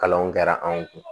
Kalanw kɛra anw kun